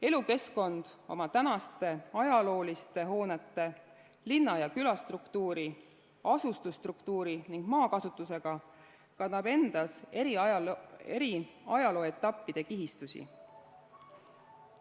Elukeskkond oma tänaste ajalooliste hoonete, linna- ja külastruktuuri, asustusstruktuuri ning maakasutusega kannab endas eri ajalooetappide kihistusi.